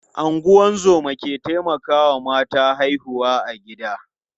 Ungozoma ke taimakawa mata haihuwa a gida.